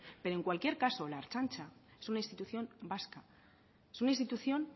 pero en cualquier caso la ertzaintza es una institución vasca es una institución